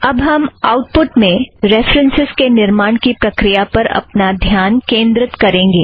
अब हम output में रेफ़रन्सस् के निर्माण की प्रक्रिया पर अपना ध्यान केंद्रित करेंगे